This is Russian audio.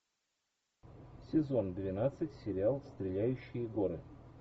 сезон двенадцать сериал стреляющие горы